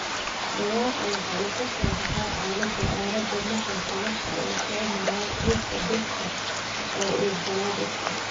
Dhawaaqa waxa uu ka soo baxaa aalada aalada maqalka waxa uu soo maraa xuubka dhegta oo uu galaa dhegta.